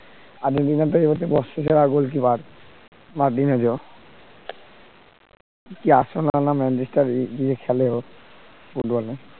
বর্ষসেরা Goal keeper Marc ডিনার ডেউ কি কি খেলেও ফুটবল